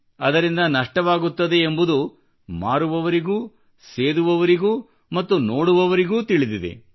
ಅದರಿಂದ ನಷ್ಟವಾಗುತ್ತದೆ ಎಂಬುದು ಮಾರುವವರಿಗೂ ಸೇದುವವರಿಗೂ ಮತ್ತು ನೋಡುವವರಿಗೂ ತಿಳಿದಿದೆ